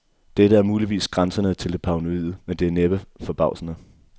Dette er muligvis grænsende til det paranoide, men det er næppe forbavsende.